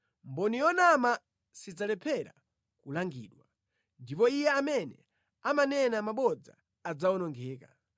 Mboni yonama sidzalephera kulangidwa, ndipo iye amene amanena mabodza adzawonongeka.